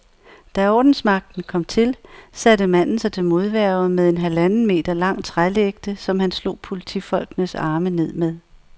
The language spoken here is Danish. Da ordensmagten kom til, satte manden sig til modværge med en halvanden meter lang trælægte, som han slog politifolkenes arme med.